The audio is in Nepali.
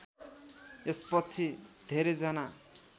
यसपछि धेरैजना